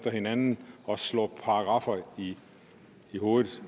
ad hinanden og slår paragraffer i hovedet